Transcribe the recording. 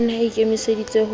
o ne a ikemeseditse ho